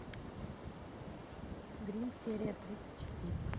гримм серия тридцать четыре